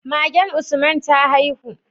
Magen usman ta haihu?